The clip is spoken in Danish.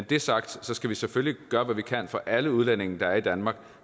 det er sagt skal vi selvfølgelig gøre hvad vi kan for at alle udlændinge der er i danmark